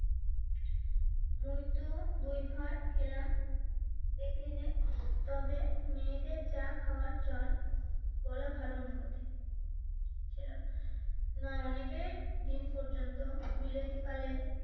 মুইতো দুই ভার খেলাম দেখলিনে তবে মেয়েদের চা খাওয়ার চল বলা ভাল না না অনেকের দিন পর্যন্ত বিলেতি কালের